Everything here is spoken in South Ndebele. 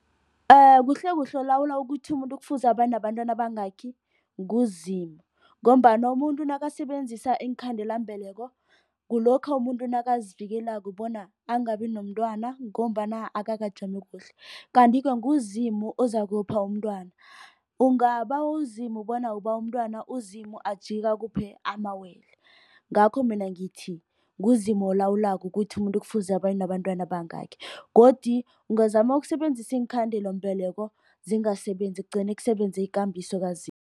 Kuhlekuhle olawula ukuthi umuntu kufuze abanabantwana abangaki nguZimu. Ngombana umuntu nakasebenzisa iinkhandelambeleko kulokha umuntu nakazivikelako bona angabi nomntwana ngombana akakajami kuhle. Kanti-ke nguZimu ozakupha umntwana. Ungabawa uZimu bona ubawa umntwana uZimu ajike akuphe amawele. Ngakho mina ngithi, nguZimu olawulako ukuthi umuntu kufuze abe nabantwana abangaki. Godu ungazama ukusebenzisa iinkhandelambeleko zingasebenzi kugcine kusebenza ikambiso kaZimu.